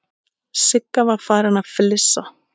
Sigga var farin að flissa.